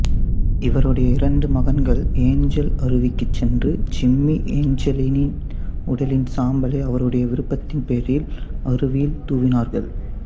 இவருடைய இரண்டு மகன்கள் ஏஞ்சல் அருவிக்குச் சென்று ஜிம்மி ஏஞ்செல்லின் உடலின் சாம்பலை அவருடைய விருப்பத்தின் பேரில் அருவியில் தூவினார்கள்